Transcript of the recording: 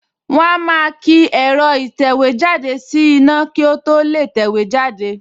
Wọ́n á máa ki ẹ̀rọ ìtẹ̀wéjáde sí iná kí ó tó lè tẹ̀wé jáde